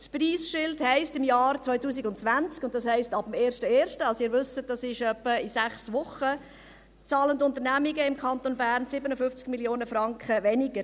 Das Preisschild heisst: Im Jahr 2020, das heisst, ab dem 01.01. – und wie Sie wissen, ist das in etwa sechs Wochen –, zahlen Unternehmungen im Kanton Bern 57 Mio. Franken weniger.